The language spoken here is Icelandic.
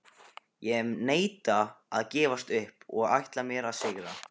Ég neita að gefast upp og ætla mér að sigra.